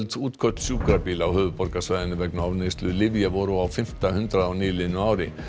útköll sjúkrabíla á höfuðborgarsvæðinu vegna ofneyslu lyfja voru á fimmta hundrað á nýliðnu ári